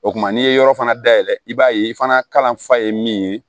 O kum'i ye yɔrɔ fana dayɛlɛ i b'a ye i fana fa ye min ye